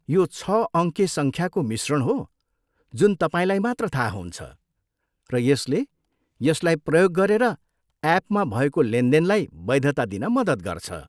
यो छ अङ्के सङ्ख्याको मिश्रण हो जुन तपाईँलाई मात्र थाहा हुन्छ, र यसले यसलाई प्रयोग गरेर एपमा भएको लेनदेनलाई वैधता दिन मद्दत गर्छ।